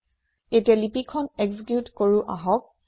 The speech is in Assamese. এতিয়া লিপি খন একজিকিউট কৰো আহক